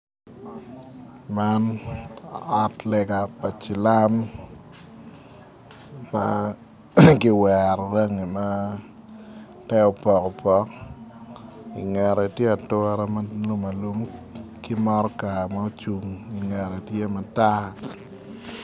Man ot lega pa cilam ma kiwero rangi ma te opokopoko i ngete tye ature ma alum alum ki motoka ma ocung i ngete tye matar.